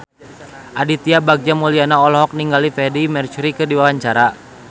Aditya Bagja Mulyana olohok ningali Freedie Mercury keur diwawancara